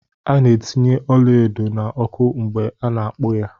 A ná etinye ọla edo na ọkụ mgbe ana akpu ya.